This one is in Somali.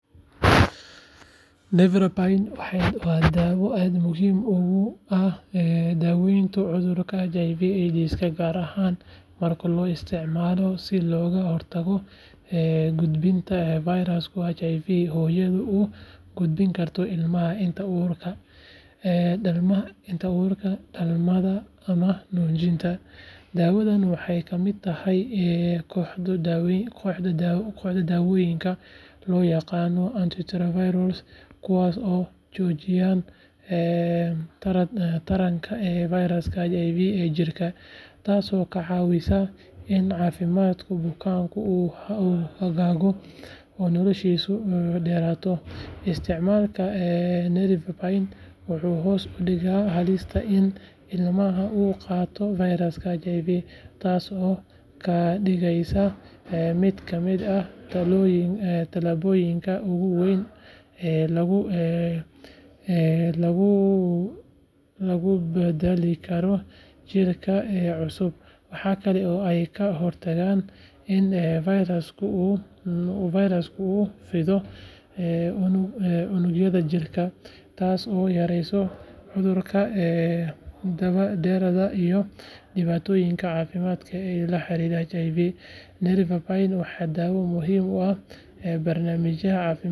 Nevirapine waa daawo aad muhiim ugu ah daaweynta cudurka HIV/AIDS gaar ahaan marka loo isticmaalo si looga hortago gudbinta fayraska HIV hooyada u gudbin karto ilmaha inta uurka, dhalmada ama nuujinta. Daawadan waxay ka mid tahay kooxda daawooyinka loo yaqaan 'antiretroviral' kuwaas oo joojiya taranka fayraska HIV ee jidhka, taasoo ka caawisa in caafimaadka bukaanka uu hagaago oo noloshiisu dheeraato. Isticmaalka nevirapine wuxuu hoos u dhigaa halista in ilmaha uu qaado fayraska HIV, taasoo ka dhigaysa mid ka mid ah tallaabooyinka ugu waaweyn ee lagu badbaadinayo jiilka cusub. Waxa kale oo ay ka hortagtaa in fayrasku u fido unugyada jidhka, taasoo yareysa cudurada daba-dheeraada iyo dhibaatooyinka caafimaad ee la xiriira HIV. Nevirapine waa daawo muhiim u ah barnaamijyada caafimaadka guud.